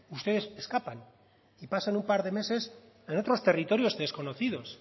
ustedes escapan y pasan un par de meses en otros territorios desconocidos